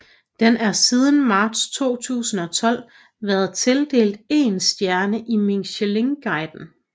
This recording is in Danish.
Den er siden marts 2012 været tildelt én stjerne i Michelinguiden